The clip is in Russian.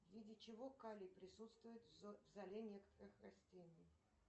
в виде чего калий присутствует в золе некоторых растений